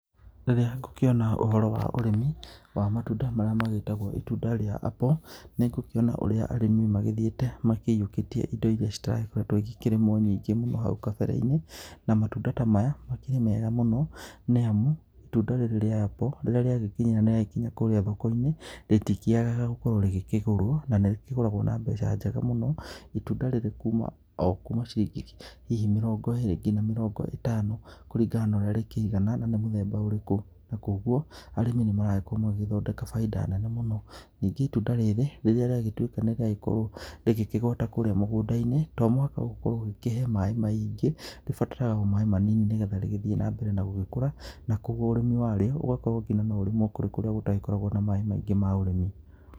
Rĩrĩa ngũkĩona ũhoro wa ũrĩmi wa matunda marĩa megĩtagwo itunda rĩa apple nĩ ngũkĩona ũrĩa arĩmi magĩthiĩte makĩiyũkĩtie indo irĩa citarakoretwo ikĩrĩmwo nyingĩ mũno hau kambere-inĩ, na matunda ta maya makĩrĩ mega mũno, nĩ amu itunda rĩrĩ rĩa apple rĩrĩa rĩagĩkinya nĩ rĩa gĩkinya kũrĩa thoko-inĩ rĩtikĩagaga gũkorwo rĩkĩgũrwo na nĩ rĩkĩgũragwo na mbeca njega mũno itunda rĩrĩ o kuma ciringi hihi mĩrongo ĩrĩ nginya mĩrongo ĩtano kũringana na ũrĩa rĩkĩigana na nĩ mũthemba ũrĩkũ, na koguo arĩmi nĩ maragĩkorwo magĩthondeka bainda nene mũno ningĩ itunda rĩrĩ rĩrĩa rĩagĩtuĩka nĩ rĩa gĩkorwo rĩkĩgwata kũrĩa mũgũnda-inĩ to mũhaka ũkorwo ũgĩkĩhe maĩ maingĩ rĩbataraga o maĩ manini, nĩgetha rĩgĩthiĩ na mbere na gũgĩkũra, na koguo ũrĩmi warĩo ũgakorwo nginya no ũrĩmwo kũndũ kũrĩa gũtagĩkoragwo na maĩ maingĩ ma ũrĩmi.